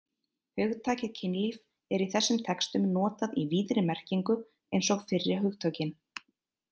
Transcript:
Hugtakið kynlíf er í þessum textum notað í víðri merkinu eins og fyrri hugtökin.